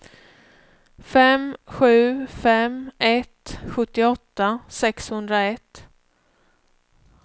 fem sju fem ett sjuttioåtta sexhundraett